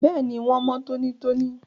Bẹ́ẹ̀ni, wón mọ́ tónítóní